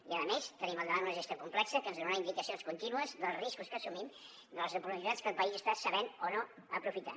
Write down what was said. i a més tenim al davant una gestió complexa que ens donarà indicacions contínues dels riscos que assumim de les oportunitats que el país està sabent o no aprofitar